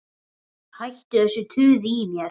Hættu þessu tuði í mér.